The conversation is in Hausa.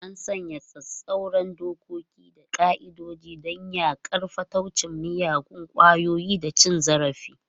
An sanya tsauraran dokoki da ƙa'idodi don yaƙar fataucin miyagun ƙwayoyi da cin zarafi.